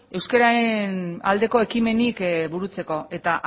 euskararen aldeko ekimenik burutzeko eta